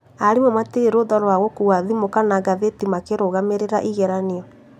Arimũ matirĩ rũtha rwa gũkuua thimũ kana ngathĩti makĩrũgamĩrĩra igeranio